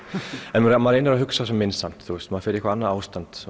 en maður reynir að hugsa sem minnst samt maður fer í eitthvað annað ástand